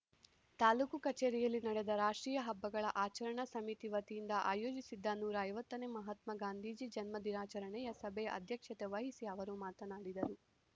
ತಾಲೂಕು ಕಚೇರಿಯಲ್ಲಿ ನಡೆದ ರಾಷ್ಟ್ರೀಯ ಹಬ್ಬಗಳ ಆಚರಣಾ ಸಮಿತಿ ವತಿಯಿಂದ ಆಯೋಜಿಸಿದ್ದ ನೂರ ಐವತ್ತನೇ ಮಹಾತ್ವ ಗಾಂಧೀಜಿ ಜನ್ಮ ದಿನಾಚರಣಿಯ ಸಭೆಯ ಅಧ್ಯಕ್ಷತೆ ವಹಿಸಿ ಅವರು ಮಾತನಾಡಿದರು